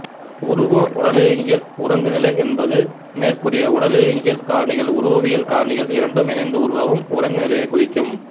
உருவஉடலியங்கியல் உறங்குநிலை என்பது மேற்கூறிய உடலியங்கியல் காரணிகள் உருவவியல் காரணிகள் இரண்டும் இணைந்து உருவாகும் உறங்குநிலையைக் குறிக்கும்